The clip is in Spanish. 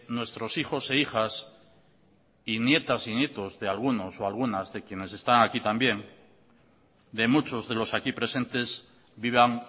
nuestros hijos e hijas y nietas y nietos de algunos o algunas de quienes están aquí también de muchos de los aquí presentes vivan